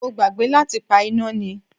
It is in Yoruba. Mo gbàgbé láti pa iná ni.